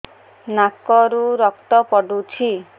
ନାକରୁ ରକ୍ତ ପଡୁଛି